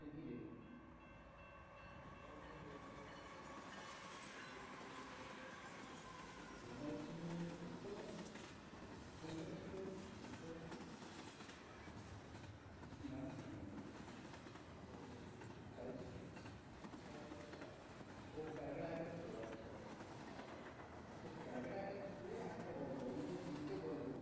ও calcutta একাত্তর আচ্ছা আচ্ছা হ্যাঁ তো calcutta একাত্তর থোরি না একটা গল্প ওর মধ্যে তিনটে গল্প আছে।